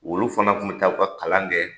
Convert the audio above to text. Olu fana tun bɛ taa u ka kalan kɛ